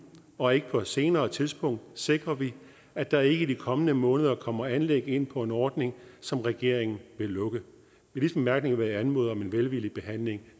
og ikke på et senere tidspunkt sikrer vi at der ikke i de kommende måneder kommer anlæg ind på en ordning som regeringen vil lukke med disse bemærkninger vil jeg anmode om en velvillig behandling